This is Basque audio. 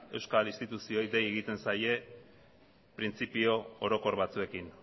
euskal instituzioei dei egiten zaie printzipio orokor batzuekin